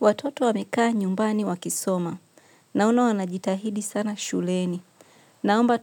Watoto wamekaa nyumbani wakisoma, naona wanajitahidi sana shuleni, naomba